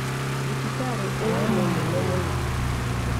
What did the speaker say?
Thibitarĩ ĩyo nĩ nene mũno.